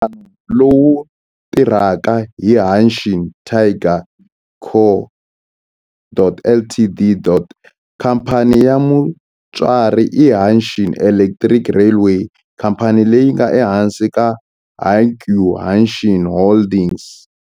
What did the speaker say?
Nhlangano lowu tirhaka i Hanshin Tigers Co., Ltd. Khamphani ya mutswari i Hanshin Electric Railway, khamphani leyi nga ehansi ka Hankyu Hanshin Holdings.